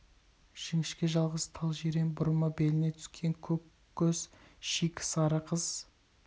жіңішке жалғыз тал жирен бұрымы беліне түскен көк көз шикі сары қыз